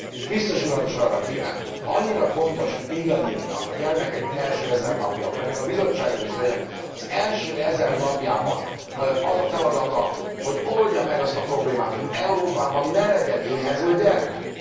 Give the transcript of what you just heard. És Biztos Urat is arra kérem, ha annyira fontos mindannyiunknak a gyermekek első 1000 napja, akkor ennek a Bizottságnak is legyen az első 1000 napjában az a feladata, hogy oldja meg azt a problémát, hogy Európában ne legyen éhező gyermek.